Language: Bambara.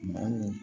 Maa mun